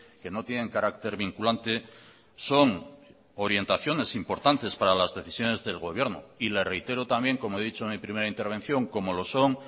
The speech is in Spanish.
que no tienen carácter vinculante son orientaciones importantes para las decisiones del gobierno y le reitero también como he dicho en mi primera intervención como lo son